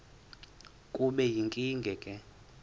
kube yinkinge ke